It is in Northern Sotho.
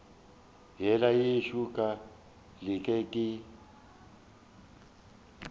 yela yešo ka leke ke